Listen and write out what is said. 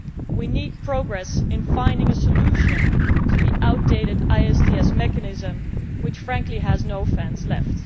We need progress in finding a solution to the outdated ISDS mechanism which, frankly, has no fans left.